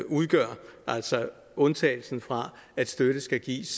udgør altså undtagelsen fra at støtten skal gives